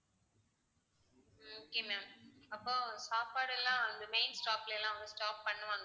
okay ma'am அப்ப சாப்பாடு எல்லாம் இந்த main stop ல எல்லாம் வந்து stop பண்ணுவாங்களா